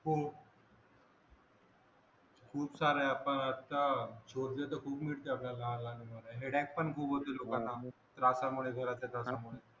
हो खूप सारे आपण आता शोधले तर खूप मिळतील आपल्याला लहान लहान हॅर्धेक पण खूप होते लोकांना त्रासामुळे घरातल्या तणावामुळे